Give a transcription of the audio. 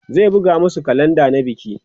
zai buga masu kalenda na biki